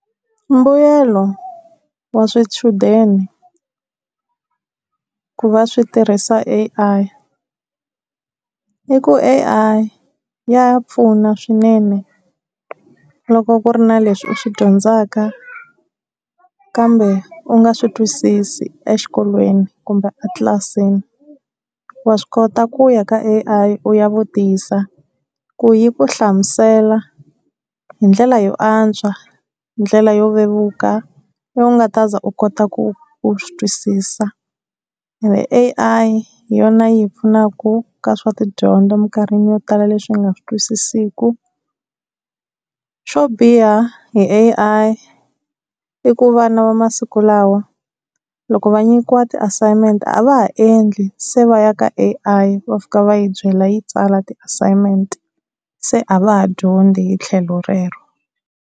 Mbuyelo wa swichudeni ku va swi tirhisa A_I i ku A_I ya pfuna swinene, loko ku ri na leswi u swi dyondzaka kambe u nga swi twisisi exikolweni kumbe a tlilasini. Wa swi kota ku ya ka A_I u ya vutisa, ku yi ku hlamusela hi ndlela yo antswa, hi ndlela yo vevuka leyi u nga ta za u kota ku u swi twisisa. And A_I hi yona yi hi pfunaka ka swa tidyondzo emikarhini yo tala leswi hi nga swi twisisiku. Swo biha hi A_I i ku vana va masiku lawa loko va nyikiwa ti-assignment a va ha endli se va ya ka A_I va fika va yi byela yi tsala ti-assignment se a va ha dyondzi hi tlhelo rero.